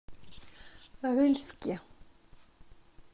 рыльске